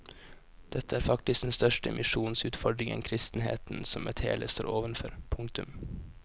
Dette er faktisk den største misjonsutfordringen kristenheten som et hele står overfor. punktum